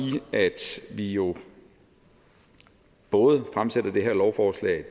at vi jo både fremsætter det her lovforslag